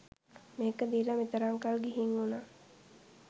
මේක දීල මෙතරම් කල් ගිහින් වුන